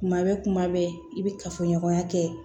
Kuma bɛ kuma bɛɛ i bɛ kafoɲɔgɔnya kɛ